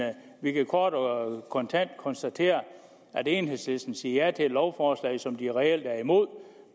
vi kan kort og kontant konstatere at enhedslisten siger ja til et lovforslag som de reelt er imod